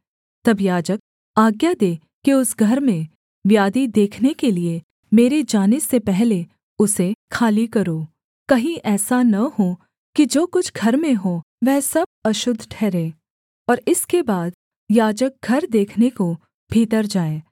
तब याजक आज्ञा दे कि उस घर में व्याधि देखने के लिये मेरे जाने से पहले उसे खाली करो कहीं ऐसा न हो कि जो कुछ घर में हो वह सब अशुद्ध ठहरे और इसके बाद याजक घर देखने को भीतर जाए